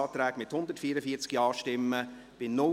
Antrag Grüne [de Meuron, Thun];